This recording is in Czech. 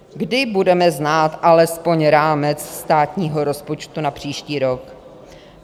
Kdy budeme znát alespoň rámec státního rozpočtu na příští rok?